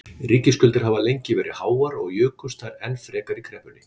Ríkisskuldir hafa lengi verið háar og jukust þær enn frekar í kreppunni.